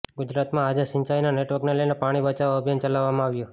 ગુજરાતમાં આજે સિંચાઇના નેટવર્કને લઇને પાણી બચાવો અભિયાન ચલાવામાં આવ્યું